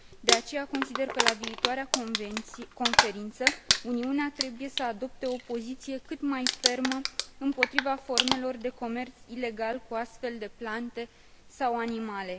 De aceea, consider că, la viitoarea conferință, Uniunea trebuie să adopte o poziție cât mai fermă împotriva formelor de comerț ilegal cu astfel de plante sau animale.